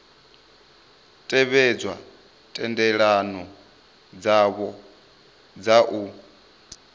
tevhedze thendelano dzavho dza u